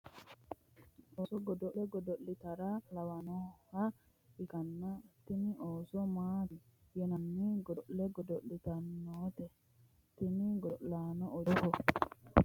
osso godo'le godo'litara biso tittirtanni nooha lawannoha ikkanna, tini ooso maati yinanni godo'le godo'litannote? tini godo'laano uddidhe noo uddano dani hiittooho?